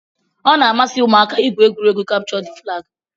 Ọ na-amasị ụmụaka igwu egwuregwu kapchọ d flagi